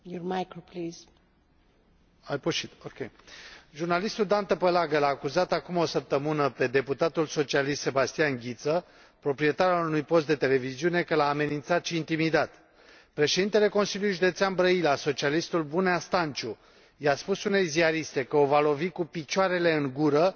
Jurnalistul Dan Tăpălagă l a acuzat acum o săptămână pe deputatul socialist Sebastian Ghiță, proprietar al unui post de televiziune, că l a amenințat și intimidat. Președintele Consiliului Județean Brăila, socialistul Bunea Stanciu, i a spus unei ziariste că o va lovi cu picioarele în gură pentru că l a întrebat de ce era la schi în loc să fie la birou.